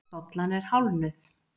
Dollan er hálfnuð.